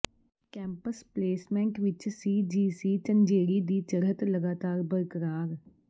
campus placement ਵਿੱਚ CGC Jhanjeri ਦੀ ਚੜ੍ਹਤ ਲਗਾਤਾਰ ਬਰਕਰਾਰ